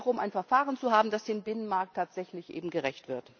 Es geht darum, ein Verfahren zu haben, das dem Binnenmarkt tatsächlich gerecht wird.